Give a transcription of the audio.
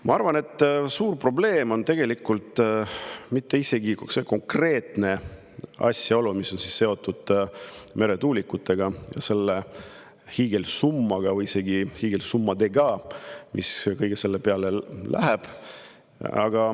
Ma arvan, et suur probleem on tegelikult isegi mitte see konkreetne, mis on seotud meretuulikutega, selle hiigelsummaga või isegi hiigelsummadega, mis kõige selle peale läheb.